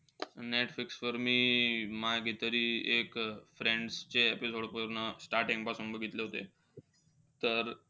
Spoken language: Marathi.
नेटफ्लिक्सवर मी मागे तरी एक, friends चे episode पूर्ण starting पासून बघितले होते. तर,